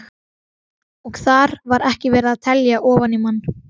Og þar var ekki verið að telja ofan í mann.